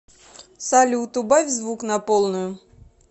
салют убавь звук на полную